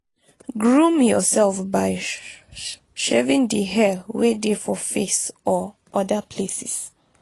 groom yourself by shaving di hair wey dey for face or oda places